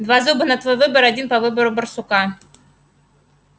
два зуба на твой выбор один по выбору барсука